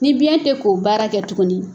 Ni biɲɛn tɛ k'o baara kɛ tuguni.